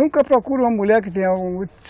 Nunca procure uma mulher que